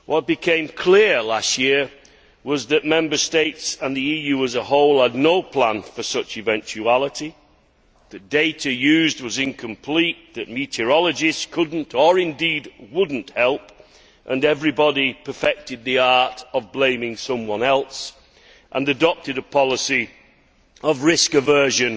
What became clear last year was that Member States and the EU as a whole had no plan for such an eventuality, the data used was incomplete, the meteorologists could not or, indeed, would not help, and everybody perfected the art of blaming someone else and adopted a policy of risk aversion